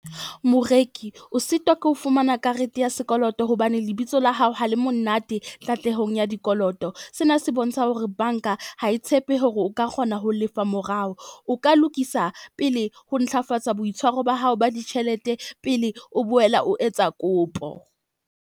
Moreki o sitwa ke ho fumana karete ya sekoloto, hobane lebitso la hao ha le monate katlehong ya dikoloto. Sena se bontsha hore bank-a ha e tshepe hore o ka kgona ho lefa morao. O ka lokisa pele ho ntlafatsa boitshwaro ba hao ba ditjhelete pele o boela o etsa kopo.